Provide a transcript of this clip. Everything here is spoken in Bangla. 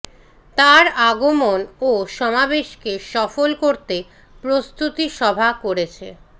তার আগমন ও সমাবেশকে সফল করতে প্রস্তুতি সভা করেছে